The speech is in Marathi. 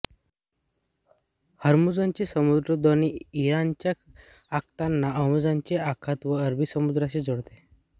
होर्मुझची सामुद्रधुनी इराणच्या आखाताला ओमानचे आखात व अरबी समुद्राशी जोडते